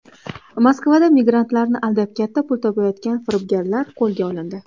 Moskvada migrantlarni aldab katta pul topayotgan firibgarlar qo‘lga olindi.